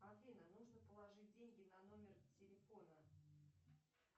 афина нужно положить деньги на номер телефона